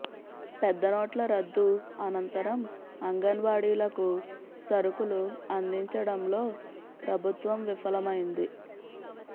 పెద్దనోట్ల రద్దు అనంతరం అంగ న్వాడీలకు సరుకులు అందించడంలో ప్రభుత్వం విఫలమైంది